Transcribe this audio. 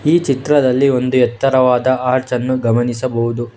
ಈ ಚಿತ್ರದಲ್ಲಿ ಒಂದು ಎತ್ತರವಾದ ಆರ್ಚ್ ಅನ್ನು ಗಮನಿಸಬಹುದು.